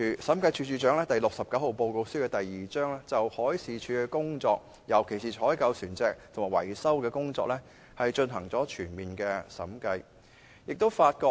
《審計署署長第六十九號報告書》第2章報告了審計署就海事處的工作，尤其是採購船隻及維修的工作，進行全面審計的結果。